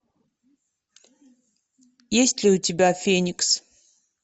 есть ли у тебя феникс